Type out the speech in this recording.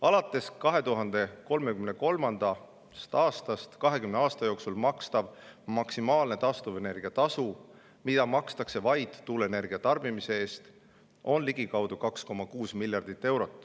Alates 2033. aastast 20 aasta jooksul makstav maksimaalne taastuvenergia tasu, mida makstakse vaid tuuleenergia tarbimise eest, on ligikaudu 2,6 miljardit eurot.